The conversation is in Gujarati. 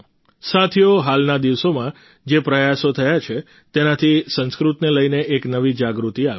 સાથીઓ હાલના દિવસોમાં જે પ્રયાસો થયા છે તેનાથી સંસ્કૃતને લઈને એક નવી જાગૃતિ આવી છે